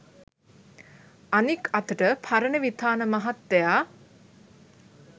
අනික් අතට පරණවිතාන මහත්තයා